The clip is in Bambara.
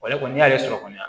kɔni n'i y'ale sɔrɔ kɔni